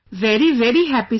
Very very happy sir